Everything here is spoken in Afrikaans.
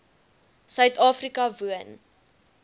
suid afrika woon